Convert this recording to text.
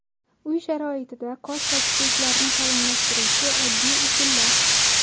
Uy sharoitida qosh va kipriklarni qalinlashtiruvchi oddiy usullar.